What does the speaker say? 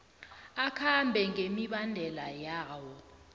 akhambe ngemibandela yawo